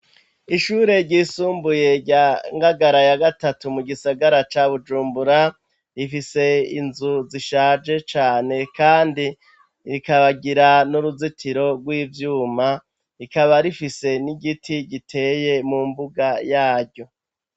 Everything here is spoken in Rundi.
Ishure ryisumbuye rya Ngagara ya gatatu mu gisagara ca Bujumbura, rifise inzu zishaje cane kandi rikagira n'uruzitiro rw'ivyuma, rikaba rifise n'igiti giteye mu mbuga yaryo.